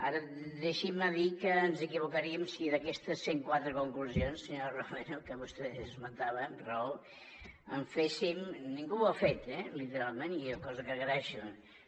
ara deixin me dir que ens equivocaríem si d’aquestes cent quatre conclusions senyora romero que vostè esmentava amb raó en féssim ningú ho ha fet eh literalment cosa que agraeixo